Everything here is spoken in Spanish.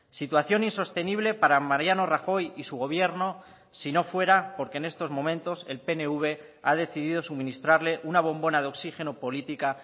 situación insostenible para mariano rajoy y su gobierno si no fuera porque en estos momentos el pnv ha decidido suministrarle una bombona de oxígeno política